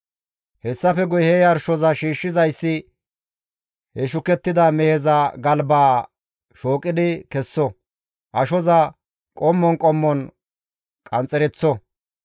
Hessafe guye he yarshoza shiishshizayssi he shukettida meheza galbaa shooqidi kesso; ashoza qommon qommon qanxxereththo.